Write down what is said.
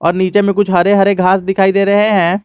और नीचे में कुछ हरे हरे घास दिखाई दे रहे हैं।